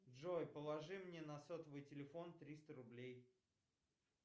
джой положи мне на сотовый телефон триста рублей